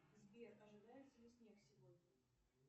сбер ожидается ли снег сегодня